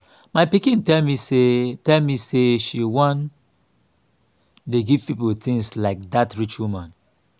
my pikin tell me say tell me say she wan dey give people things like dat rich woman